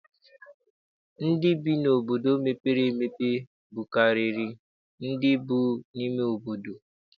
Ndị bi n'obodo mepere emepe bukarịrị ndị bi n'ime obodo.